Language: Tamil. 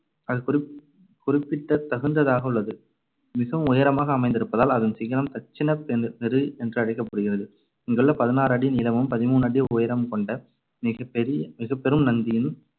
அது குறிப்~ குறிப்பிட்டத் தகுந்ததாக உள்ளது. மிகவும் உயரமாக அமைந்திருப்பதால் அதன் சிகரம் தட்சிண பெ~ மெரு என்றழைக்கப்படுகிறது. இங்குள்ள பதினாறு அடி நீளமும் பதிமூணு அடி உயரமும் கொண்ட மிகப்பெரிய மிகப்பெரும் நந்தியின்